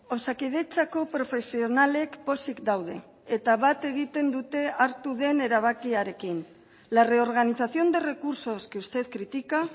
osakidetzako profesionalek pozik daude eta bat egiten dute hartu den erabakiarekin la reorganización de recursos que usted critica